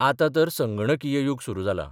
आतां तर संगणकीय यूग सुरू जालां.